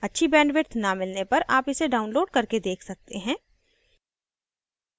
यदि आपके पास अच्छा bandwidth नहीं है तो आप इसको download करके भी देख सकते हैं